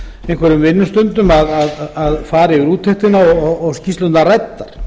einhverjum vinnustundum að fara yfir úttektina og skýrslurnar ræddar